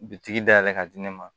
Bitigi dayɛlɛ ka di ne ma